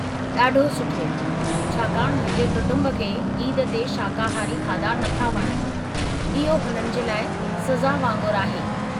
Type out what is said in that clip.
ॾाढो सुठो, छाकांणि मुंहिंजे कुटुंब खे ईद ते शाकाहारी खाधा नथा वणनि; इहो हुननि जे लाइ सज़ा वांगुरु आहे।